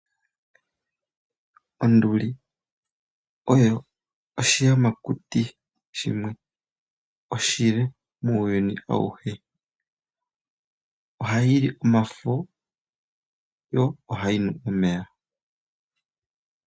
Onduli oyo oshi yamakuti shimwe oshile muuyuni awuhe, oha yili omafo yo oha yinu omeya.